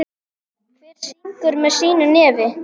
Hver syngur með sínu nefi.